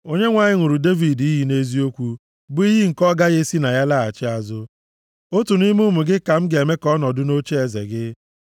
Onyenwe anyị ṅụrụ Devid iyi nʼeziokwu, bụ iyi nke ọ gaghị esi na ya laghachi azụ: “Otu nʼime ụmụ gị, ka m ga-eme ka ọ nọdụ nʼocheeze gị,